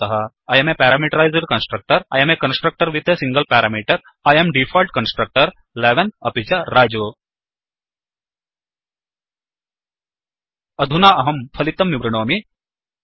I um a parameterised constructor I um a constructor with a single parameter I um default constructor 11 अपि च रजु अधुना अहं फलितं विवृणोमि